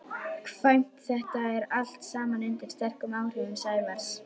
kvæmt þetta allt saman undir sterkum áhrifum Sævars.